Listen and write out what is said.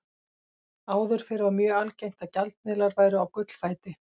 Áður fyrr var mjög algengt að gjaldmiðlar væru á gullfæti.